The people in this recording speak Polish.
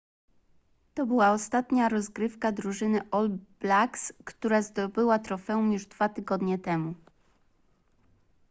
to była ostatnia rozgrywka drużyny all blacks która zdobyła trofeum już dwa tygodnie temu